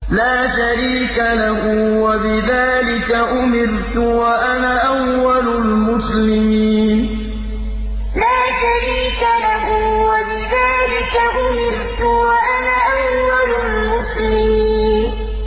لَا شَرِيكَ لَهُ ۖ وَبِذَٰلِكَ أُمِرْتُ وَأَنَا أَوَّلُ الْمُسْلِمِينَ لَا شَرِيكَ لَهُ ۖ وَبِذَٰلِكَ أُمِرْتُ وَأَنَا أَوَّلُ الْمُسْلِمِينَ